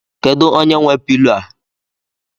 Kedụ onye nwe pilo a?